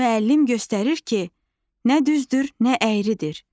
Müəllim göstərir ki, nə düzdür, nə əyridir.